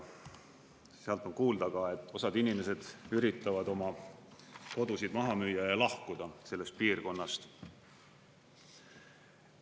Sealt on kuulda ka, et osad inimesed üritavad oma kodusid maha müüa ja lahkuda sellest piirkonnast.